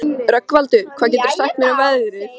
Rögnvaldur, hvað geturðu sagt mér um veðrið?